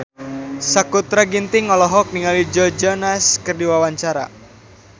Sakutra Ginting olohok ningali Joe Jonas keur diwawancara